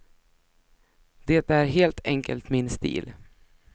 Det är helt enkelt min stil.